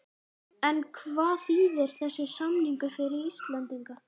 En hvað þýðir þessi samningur fyrir Íslendinga?